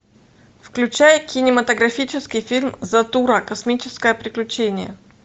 включай кинематографический фильм затура космическое приключение